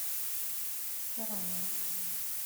карамова